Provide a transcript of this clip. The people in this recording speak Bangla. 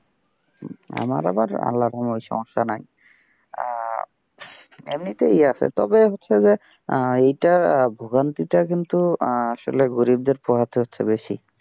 আমার আবার আল্লাহর কোন সমস্যা নাই, আহ এমনিতেই আছে তবে হচ্ছে যে, এইটার ভোগান্তি টা কিন্তু আসলে গরিবদের পোহাতে হচ্ছে বেশি।